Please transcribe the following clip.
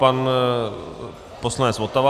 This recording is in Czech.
Pan poslanec Votava.